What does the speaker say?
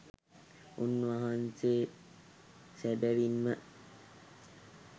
උන්වහන්සේ සැබැවින්ම